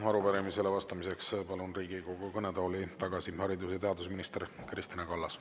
Ja arupärimisele vastamiseks palun Riigikogu kõnetooli tagasi haridus- ja teadusminister Kristina Kallase.